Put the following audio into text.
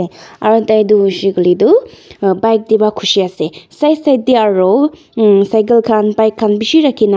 aru taitu hoishey koilae tu bike taepa khushi ase side side tae aru cycle khan bike khan bishi rakhina.